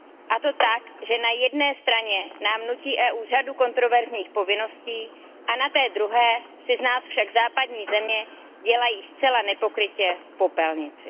A to tak, že na jedné straně nám nutí EU řadu kontroverzních povinností, na té druhé si z nás však západní země dělají zcela nepokrytě popelnici.